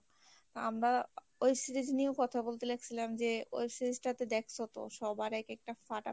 আমরা web series নিয়েও কথা বলতে লাগছিলাম যে web series টা তো দেখসো তো সবার এক একটা ফাটা